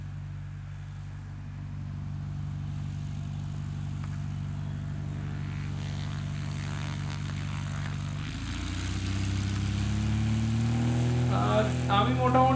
আর আমি মোটামুটি